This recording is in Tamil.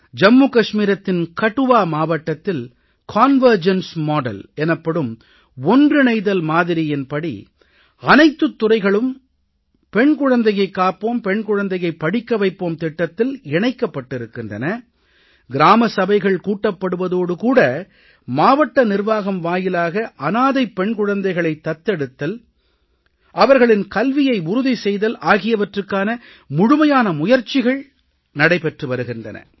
ஜம்முகஷ்மீரத்தின் கட்டுவா மாவட்டத்தில் கன்வர்ஜென்ஸ் மாடல் எனப்படும் ஒன்றிணைதல் மாதிரியின் படி அனைத்துத் துறைகளும் பெண் குழந்தையைக் காப்போம் பெண் குழந்தையைப் படிக்க வைப்போம் திட்டத்தில் இணைக்கப்பட்டிருக்கின்றன கிராம சபைகள் கூட்டப்படுவதோடு கூட மாவட்ட நிர்வாகம் வாயிலாக அனாதைப் பெண் குழந்தைகளைத் தத்தெடுத்தல் அவர்களின் கல்வியை உறுதி செய்தல் ஆகியவற்றுக்கான முழுமையான முயற்சிகள் நடைபெற்று வருகின்றன